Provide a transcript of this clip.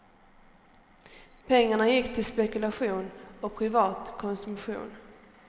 Pengarna gick till spekulation och privat konsumtion.